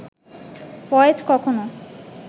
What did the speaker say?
ফয়েজ কখনো